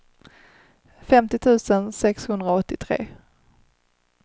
femtio tusen sexhundraåttiotre